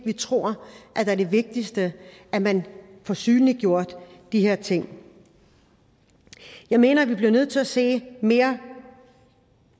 vi tror det er det vigtigste at man får synliggjort de her ting jeg mener at vi bliver nødt til at se mere